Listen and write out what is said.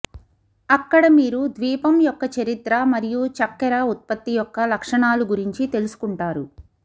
అక్కడ మీరు ద్వీపం యొక్క చరిత్ర మరియు చక్కెర ఉత్పత్తి యొక్క లక్షణాలు గురించి తెలుసుకుంటారు